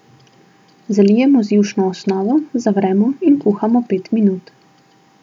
Zalijemo z jušno osnovo, zavremo in kuhamo pet minut.